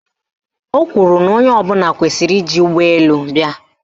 Ọ kwuru na onye ọbụla kwesiri iji ụgbọelu bịa